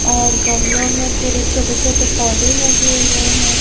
और गमलों में पूरे छोटे छोटे पौधे लगे हुए हैं।